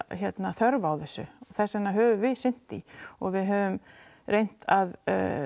þörf á þessu og þess vegna höfum við sinnt því og við höfum reynt að